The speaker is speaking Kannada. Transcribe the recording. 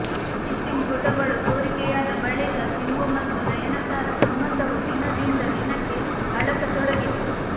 ಕಿಸ್ಸಿಂಗ್ ಫೋಟೊಗಳು ಸೋರಿಕೆಯಾದ ಬಳಿಕ ಸಿಂಬು ಮತ್ತು ನಯನತಾರಾ ಸಂಬಂಧವು ದಿನದಿಂದ ದಿನಕ್ಕೆ ಹಳಸತೊಡಗಿತು